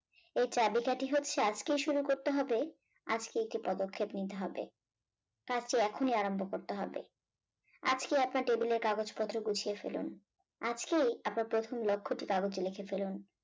এর চাবিকাঠি হচ্ছে আজকেই শুরু করতে হবে আজকে একটি পদক্ষেপ নিতে হবে। তার চেয়ে এখনই আরম্ভ করতে হবে আজকে আপনার টেবিলের কাগজপত্র গুছিয়ে ফেলুন আজকেই আপনার প্রথম লক্ষ্যটি কাগজে লিখে ফেলুন